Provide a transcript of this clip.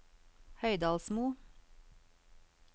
Høydalsmo